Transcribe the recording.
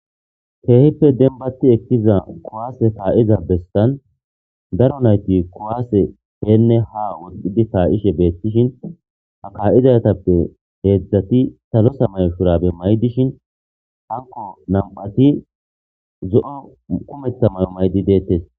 Keehippe denbati ekkiza kowaase kaa7iza bestan daro nayti kowaase heenne ha wodidi kaa7ishe beettishin ha kaa7izatappe heedzdzati talo samayo shurabe maydishin hanko nam7ati zo7o kumetta mayo maydi deettes.